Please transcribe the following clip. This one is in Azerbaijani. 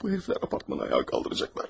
Bu yerlər apartmanı ayağa qaldıracaqlar.